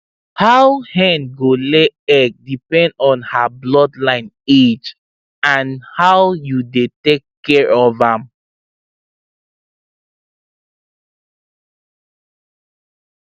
how hen go lay egg depend on her bloodline age and how you dey take care of am